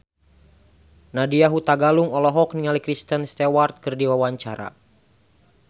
Nadya Hutagalung olohok ningali Kristen Stewart keur diwawancara